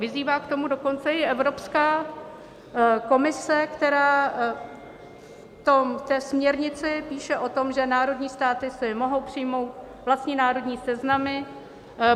Vyzývá k tomu dokonce i Evropská komise, která v té směrnici píše o tom, že národní státy si mohou přijmout vlastní národní seznamy.